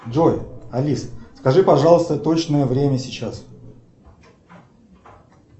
джой алис скажи пожалуйста точное время сейчас